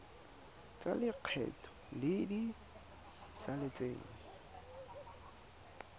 tsa lekgetho tse di saletseng